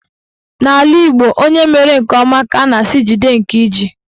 N'ala Igbo, onye mere nke ọma ka a na-asị "jide nke iji"